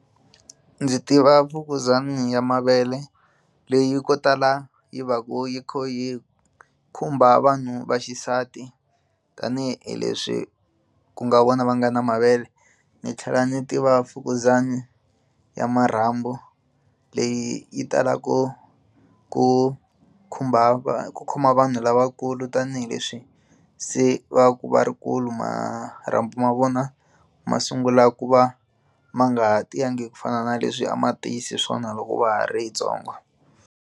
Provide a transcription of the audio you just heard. Ndzi tiva mfukuzana ya mavele leyi ko tala yi va ku yi kha yi khumba vanhu va xisati tanihileswi ku nga vona va nga na mavele ni tlhela ni tiva mfukuzana ya marhambu leyi yi talaka ku ku khumba va ku khoma vanhu lavakulu tanihileswi se va va ku va ri va kulu marhambu ma vona ma sungulaka ku va ma nga ha tiyangi ku fana na leswi a ma tiyise swona loko va ha ri vatsongo.